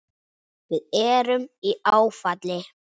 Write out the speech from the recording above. Við erum í áfalli.